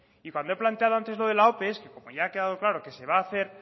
y cuando he planteado antes lo de la ope que como ya ha quedado claro que se va a hacer